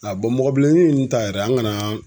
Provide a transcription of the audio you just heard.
A mɔgɔbilennin ta yɛrɛ an kana